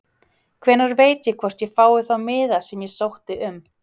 Hvenær veit ég hvort ég fái þá miða sem ég sótti um?